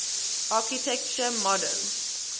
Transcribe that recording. architecture modern